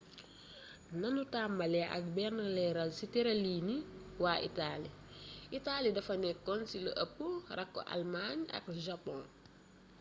nanu tàmbali ak benn leeral ci tërëliini waa itali itali dafa nekkoon ci lu ëpp rakku' almaañ ak japon